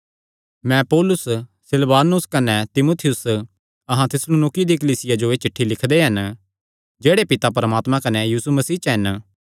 मैं पौलुस सिलवानुस कने तीमुथियुस अहां थिस्सलुनीकियों दी कलीसिया जो एह़ चिठ्ठी लिखदे हन जेह्ड़े पिता परमात्मे कने यीशु मसीह च हन